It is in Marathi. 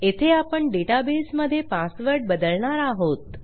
येथे आपण डेटाबेसमधे पासवर्ड बदलणार आहोत